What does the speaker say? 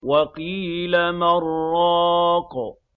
وَقِيلَ مَنْ ۜ رَاقٍ